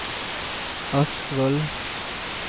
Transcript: Askvoll